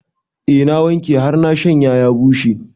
Eh na wanke har na shanya ya bushe